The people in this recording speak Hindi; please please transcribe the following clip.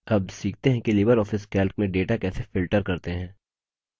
अब सीखते हैं कि libreoffice calc में data कैसे filter करते हैं